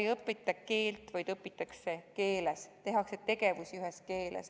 Selle puhul ei õpita võõrast keelt, vaid õpitakse võõras keeles, kõike tehakse ühes keeles.